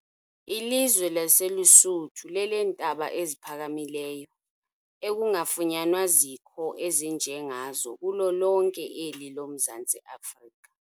Ilizwe laseLusuthu leleentaba eziphakamileyo, ekungafunyanwa zikho ezinje ngazo kulo lonke eli lomZantsi Afrika.